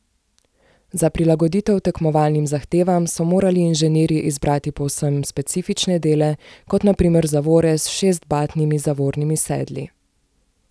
Za prilagoditev tekmovalnim zahtevam so morali inženirji izbrati povsem specifične dele, kot na primer zavore s šestbatnimi zavornimi sedli.